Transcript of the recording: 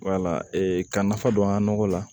Wala ka nafa don an ka nɔgɔ la